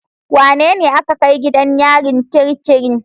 Wanene aka kai gidan yarin kirikiri?